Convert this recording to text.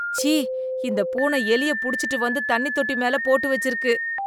ச்சீ, இந்த பூனை எலியை புடிச்சுட்டு வந்து தண்ணி தொட்டி மேல போட்டு வெச்சிருக்கு